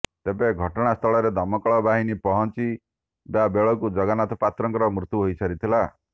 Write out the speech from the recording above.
ତେବେ ଘଟଣାସ୍ଥଳରେ ଦମକଳବାହିନୀ ପହଞ୍ଚିବା ବେଳକୁ ଜଗନ୍ନାଥ ପାତ୍ରଙ୍କର ମୃତ୍ୟୁ ହୋଇସାରିଥିଲା